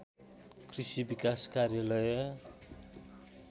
कृषि विकास कार्यालय